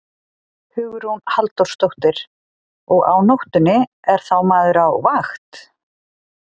Hugrún Halldórsdóttir: Og á nóttunni, er þá maður á vakt?